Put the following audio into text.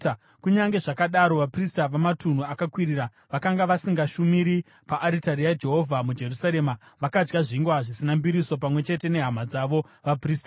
Kunyange zvazvo vaprista vamatunhu akakwirira vakanga vasingashumiri paaritari yaJehovha muJerusarema, vakadya zvingwa zvisina mbiriso pamwe chete nehama dzavo vaprista.